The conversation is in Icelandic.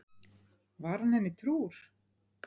Var hann henni trúr?